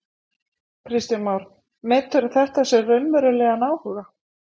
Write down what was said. Kristján Már: Meturðu þetta sem raunverulegan áhuga?